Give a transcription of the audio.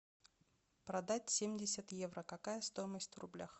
продать семьдесят евро какая стоимость в рублях